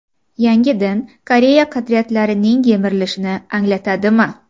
Yangi din Koreya qadriyatlarining yemirilishini anglatadi mi?